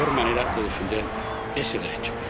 La peor manera de defender ese derecho.